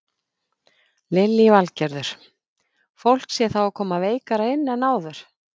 Lillý Valgerður: Fólk sé þá koma veikara inn en áður?